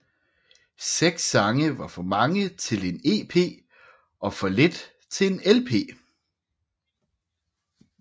Seks sange var for mange til en EP og for lidt til en LP